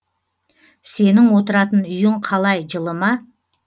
сенің отыратын үйің қалай жылы ма